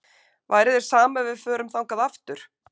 Væri þér sama ef við förum þangað aftur?